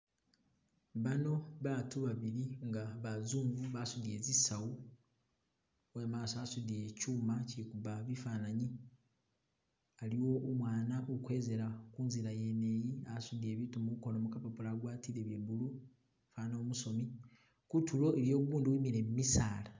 Baano batu babili nga bazungu basutile tsisawu uwe maaso asudile kyuma chikuba bifanyanyi, aliwo umwana ukwezela kunzila yene iyi asudile biitu mukoono mukapapula agwatile bye blue fwana umusomi, kutulo iliyo ugundi uwimile mumisaala.